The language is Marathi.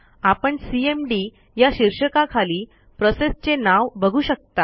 आपण सीएमडी या शीर्षकाखाली प्रोसेसचे नाव बघू शकता